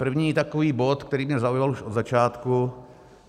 První takový bod, který mě zaujal už od začátku.